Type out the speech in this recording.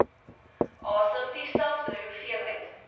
asem dieselfde hoeveelheid